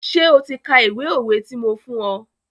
Ṣé o ti ka ìwé òwe ti mo fún ọ?